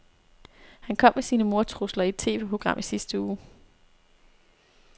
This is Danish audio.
Han kom med sine mordtrusler i et TVprogram i sidste uge.